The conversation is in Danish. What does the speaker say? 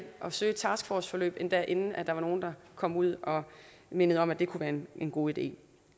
at søge et taskforceforløb endda inden nogen kom ud og mindede om at det kunne være en god idé